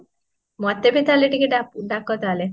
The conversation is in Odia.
ମତେ ଭି ତାହାଲେ ଟିକେ ଡାକ ତାହାହେଲେ